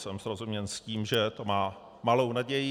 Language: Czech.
Jsem srozuměn s tím, že to má malou naději.